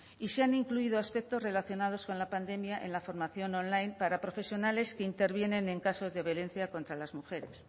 y se han incluido aspectos relacionados con la pandemia en la formación online para profesionales que intervienen en casos de violencia contra las mujeres